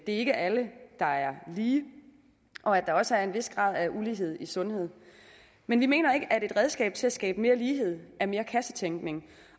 ikke er alle der er lige og at der også er en vis grad af ulighed i sundhed men vi mener ikke at et redskab til at skabe mere lighed er mere kassetænkning